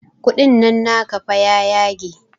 Kuɗin nan naka fa ya yage